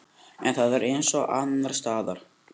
En það er eins og annarsstaðar.